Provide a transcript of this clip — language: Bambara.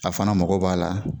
A fana mago b'a la